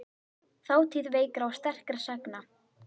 Þátíð veikra og sterkra sagna.